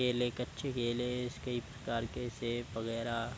केले कच्चे केले इसके कई प्रकार के सेब वागेरा --